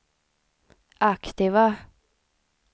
aktiva